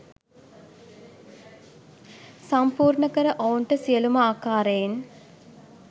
සම්පූර්ණකර ඔවුන්ට සියලුම ආකාරයෙන්